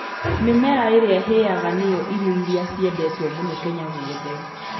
Mĩmera ĩrĩa ĩhĩaga nĩ yo irio iria ciendetwo mũno Kenya guothe.